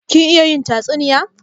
Kin iya yin tatsuniya?